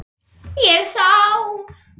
Ég sá.